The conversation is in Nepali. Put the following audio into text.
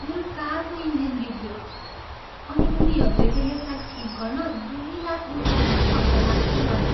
मेरो कारको इन्जिन बिग्रियो अनि उनीहरूले त यसलाई ठिक गर्न दुई लाख रुपियाँ पो खर्च लाग्छ भने।